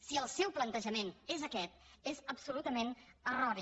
si el seu plantejament és aquest és absolutament erroni